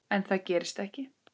En það gerist ekki.